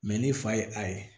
ni fa ye a ye